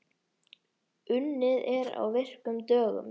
Unnið er á virkum dögum.